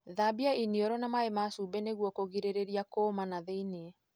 Thambia iniũrũ na maĩ ma cumbi nĩguo kũgirĩrĩria kũuma thĩini.